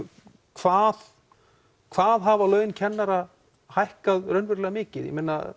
hvað hvað hafa laun kennara hækkað raunverulega mikið